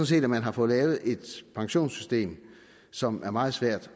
set at man har fået lavet et pensionssystem som er meget svært